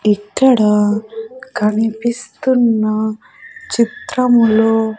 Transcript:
ఇక్కడ కనిపిస్తున్న చిత్రములో --